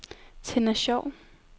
Tenna Schou